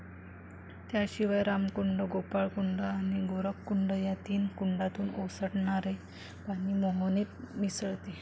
त्याशिवाय रामकुंड, गोपाळकुंड आणि गोरखकुंड या तीन कुंडातून ओसंडनणरे पाणी मोहनेत मिसळते.